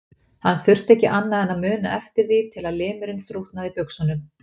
Hann þurfti ekki annað en að muna eftir því til að limurinn þrútnaði í buxunum.